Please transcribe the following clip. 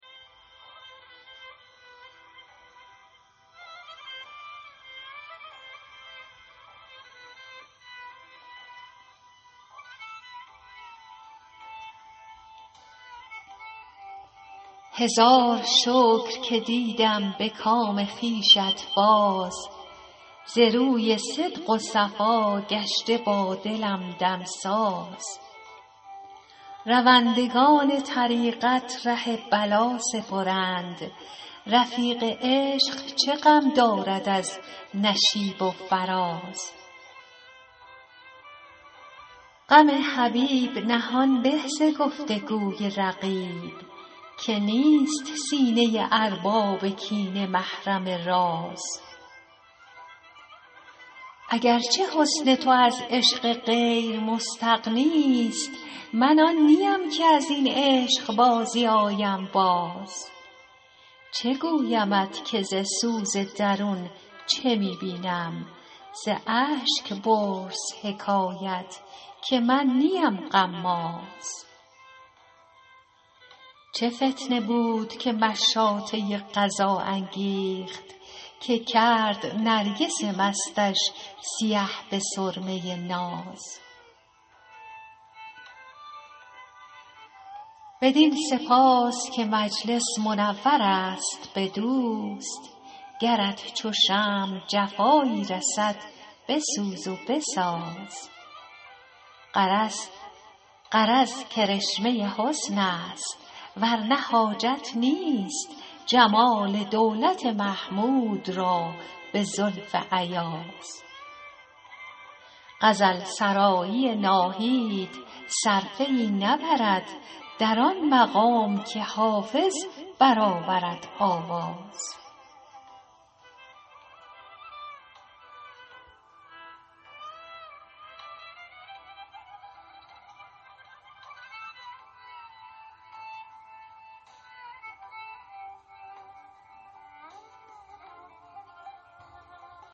هزار شکر که دیدم به کام خویشت باز ز روی صدق و صفا گشته با دلم دمساز روندگان طریقت ره بلا سپرند رفیق عشق چه غم دارد از نشیب و فراز غم حبیب نهان به ز گفت و گوی رقیب که نیست سینه ارباب کینه محرم راز اگر چه حسن تو از عشق غیر مستغنی ست من آن نیم که از این عشق بازی آیم باز چه گویمت که ز سوز درون چه می بینم ز اشک پرس حکایت که من نیم غماز چه فتنه بود که مشاطه قضا انگیخت که کرد نرگس مستش سیه به سرمه ناز بدین سپاس که مجلس منور است به دوست گرت چو شمع جفایی رسد بسوز و بساز غرض کرشمه حسن است ور نه حاجت نیست جمال دولت محمود را به زلف ایاز غزل سرایی ناهید صرفه ای نبرد در آن مقام که حافظ برآورد آواز